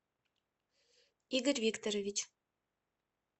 игорь викторович